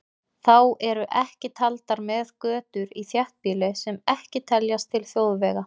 Þá eru ekki taldar með götur í þéttbýli sem ekki teljast til þjóðvega.